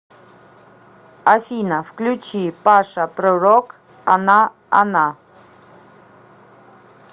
афина включи паша пророк она она